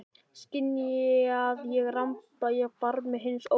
Skynja að ég ramba á barmi hins ómögulega.